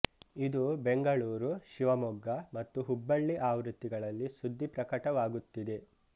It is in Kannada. ಇದು ಬೆಂಗಳೂರು ಶಿವಮೊಗ್ಗ ಮತ್ತು ಹುಬ್ಬಳ್ಳಿ ಆವೃತ್ತಿಗಳಲ್ಲಿ ಸುದ್ದಿ ಪ್ರಕಟವಾಗುತ್ತಿದೆ